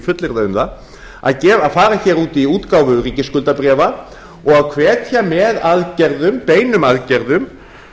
fullyrða um það að fara út í útgáfu ríkisskuldabréfa og hvetja með aðgerðum beinum aðgerðum